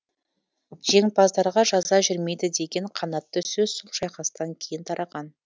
жеңімпаздарға жаза жүрмейді деген қанатты сөз сол шайқастан кейін тараған